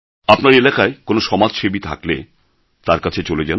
আপনার এলাকায় কোনও সমাজসেবী থাকলে তাঁর কাছে চলে যান